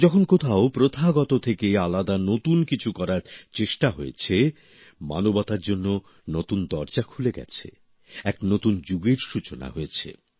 যখন কোথাও প্রথাগত থেকে আলাদা নতুন কিছু করার চেষ্টা হয়েছে মানবতার জন্য নতুন দরজা খুলে গেছে এক নতুন যুগের সূচনা হয়েছে